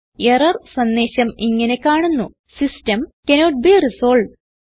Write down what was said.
error സന്ദേശം ഇങ്ങനെ കാണുന്നു സിസ്റ്റം കാന്നോട്ട് ബെ റിസോൾവ്ഡ്